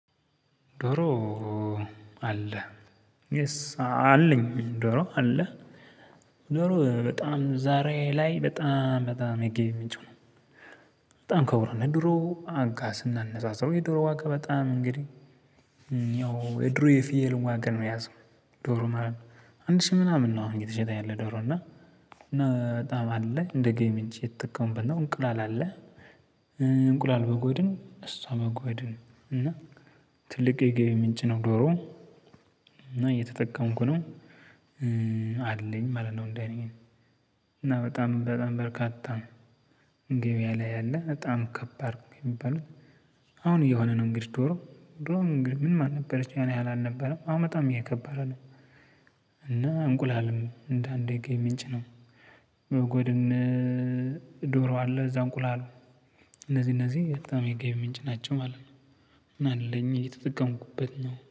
ዶሮ አለ የስ አለኝ ዶሮ አለ ዶሮ በጣም ዛሬ ላይ በጣም በጣም የገቢ ምንጭ ነው። በጣም ከብሩ ነው ድሮ አጋስና ስናነጻጽረው የዶሮ ዋጋ በጣም እንግዲህ ያው የድሮ የፊየል ዋጋ ነው የያዘው። ዶሮ ማለት ነው። አንድ ሺህ ምናምን ነው አሁን የተሸጠኝ ዶሮ እና በጣም አለ እንደ ገቢ ምንጭ የተጠቀመው እንቁላል አለ። እንቁላል በጎ አይደለም እሷ በጎ አይደለም እና ትልቅ የገቢ ምንጭ ነው። ዶሮ እና እየተጠቀምኩ ነው አለኝ ማለት ነው። እንደ እኔ እና በጣም በጣም በርካታ ገበያ ላይ ያለ በጣም ከባድ የሚባሉት። አሁን እየሆነ ነው እንግዲህ ዶሮ ምን ማን ነበረች ያን ያህል አልነበረም በጣም እየከበረ አለ። እና እንቁላልም እንደ አንድ ገቢ ምንጭ ነው። በጎድን። ዶሮ አለ እዛ እንቁላል እነዚህ እነዚህ በጣም የገቢ ምንጭ ናቸው ማለት ነው። እና አለኝ የተጠቀምኩበት ነው።